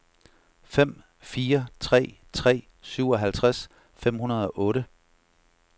fem fire tre tre syvoghalvtreds fem hundrede og otte